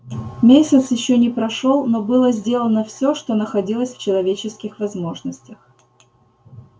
месяц ещё не прошёл но было сделано всё что находилось в человеческих возможностях